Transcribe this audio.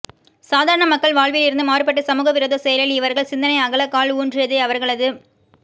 சாதரான மக்கள் வாழ்வில் இருந்து மாறுபட்டு சமுக விரோத செயலில் இவர்கள் சிந்தனை அகல கால் ஊன்றியதை அவர்களது